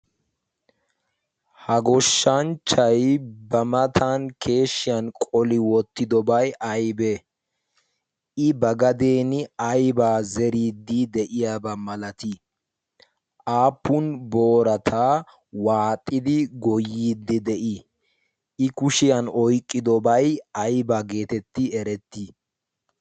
Ha goshshanchchay ba matan keeshshiyan qoli wottidobay aybee? I ba gaden aybaa zeriddi de'iyaabaa malatii? Aappun boorata waaxidi goyiddi de'ii? I kushiyan oyqqidobay aybaa geetetti erettii?